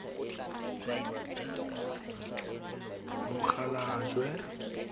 mokgalajwe